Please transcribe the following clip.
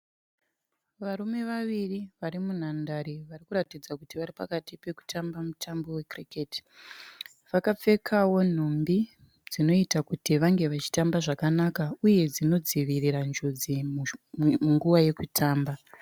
Varume vaviri vari vari munhandare , vari kuratidza kuti vari pakati pekutamba mutambo we kiriketi. Vakapfeka nhumbu dzinoita kuti vave vachotamba zvakanaka uye dzino dzivirira njodzi munguva yekutamba .